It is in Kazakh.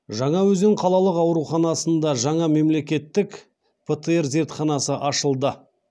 жаңаөзен қалалық ауруханасында жаңа мемлекеттік птр зертханасы ашылды